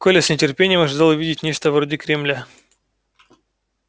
коля с нетерпением ожидал увидеть нечто вроде кремля